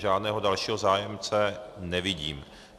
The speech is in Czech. Žádného dalšího zájemce nevidím.